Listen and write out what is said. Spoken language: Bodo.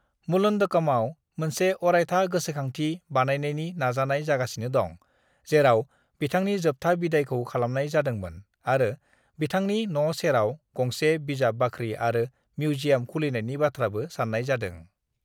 "मुलंडकामआव मोनसे अरायथा गोसोखांथि बानायनायनि नाजानाय जागासिनो दं, जेराव बिथांनि जोबथा बिदायखौ खालामनाय जादोंमोन, आरो बिथांनि न' सेराव गंसे बिजाब बाख्रि आरो मिउजियाम खुलिनायनि बाथ्राबो सान्नाय जादों।"